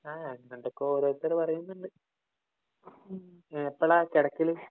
ആ എന്താണ്ടൊക്കെ ഓരോരുത്തര് പറയുന്നുണ്ട്. എപ്പളാ കെടക്കല്?